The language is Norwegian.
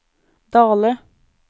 Dale